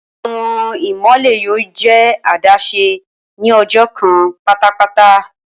Awọn imọlẹ yoo jẹ adaṣe ni ọjọ kan patapata.